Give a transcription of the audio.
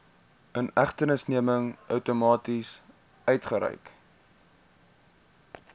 inhegtenisneming outomaties uitgereik